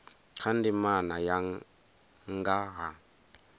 kha ndimana ya nga ha